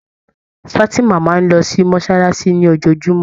Fatima máa ń lọ sí mosolasi ni ojojumọ.